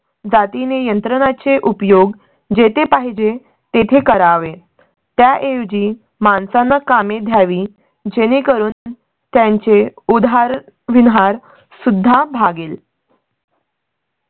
जाती ने यंत्रणा चे उपयोग जेथे पाहिजे तेथे करावे त्या ऐवजी माणसांना कामे ही ध्यावी जेणे करून त्यांचे उधार विधार सुद्धा भागेल.